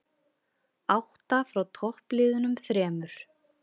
Átta frá toppliðunum þremur